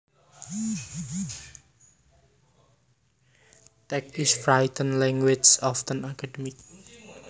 Text is written language often academic